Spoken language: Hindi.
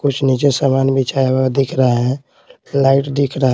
कुछ नीचे सामान बिछाया हुआ दिख रहा है लाइट दिख रहा है।